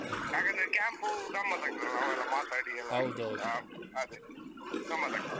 ಹಾಗಂದ್ರೆ camp ಗಮ್ಮತಾಗತ್ತದಲ್ಲ ನಾವೆಲ್ಲ ಮಾತಾಡಿ ಎಲ್ಲ? ಹಾ ಅದೇ ಗಮ್ಮತ್ತಾಗ್ತದೆ.